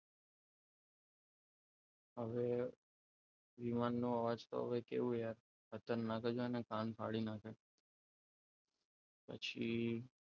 હવે વિમાન નો અવાજ તો હવે કેવું યાર ખતરનાક જ હોય ને કાન ફાડી નાખે પછી,